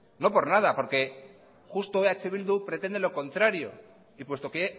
no por nada porque justo eh bildu pretende lo contrario y puesto que